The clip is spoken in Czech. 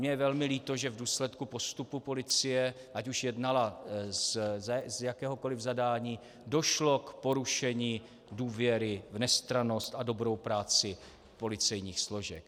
Mně je velmi líto, že v důsledku postupu policie, ať už jednala z jakéhokoli zadání, došlo k porušení důvěry v nestrannost a dobrou práci policejních složek.